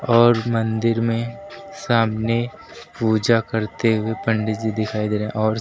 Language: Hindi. और मंदिर में सामने पूजा करते हुए पंडित जी दिखाई दे रहे हैं और--